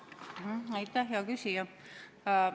Aitäh, hea küsija!